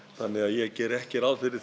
þannig að ég geri ekki ráð fyrir